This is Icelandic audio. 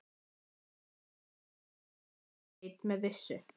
Það er líklega það eina sem ég veit með vissu.